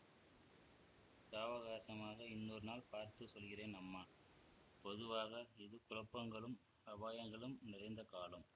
சாவகாசமாக இன்னொரு நாள் பார்த்து சொல்கிறேன் அம்மா பொதுவாக இது குழப்பங்களும் அபாயங்களும் நிறைந்த காலம்